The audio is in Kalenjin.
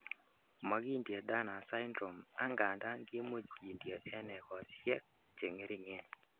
Mokindie Turner Syndrome angandan kimuch kindie en egosiek cheng'ering'en.